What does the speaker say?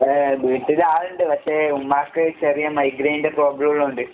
ഏഹ് വീട്ടിലാളിണ്ട്. പക്ഷെ ഉമ്മാക്ക് ചെറിയ മൈഗ്രേന്റെ പ്രോബ്‌ളോള്ള കൊണ്ട്.